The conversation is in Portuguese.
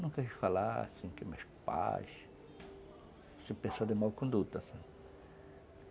Nunca ouvi falar assim que meus pais se pensaram de mau conduto, sabe?